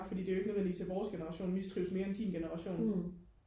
fordi det jo ikke nødvendigvis er vores generation mistrives mere end din generation